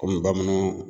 Kɔmi bamananw